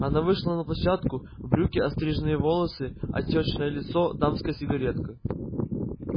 она вышла на площадку брюки остриженные волосы отёчное лицо дамская сигаретка